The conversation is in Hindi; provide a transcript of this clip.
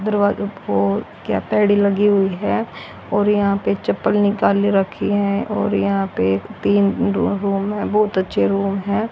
दरवाजों पे क्या तो आई_डी लगी हुई है और यहाँ पे चप्पल निकाले रखी है और यहाँ पे तीन रूम हैं बहुत अच्छे रुम हैं।